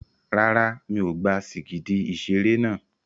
Rárá, mi ò gba sìgìdì ìṣeré náà.